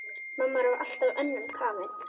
Mamma var alltaf önnum kafin.